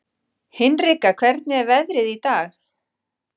Hinrika, hvernig er veðrið í dag?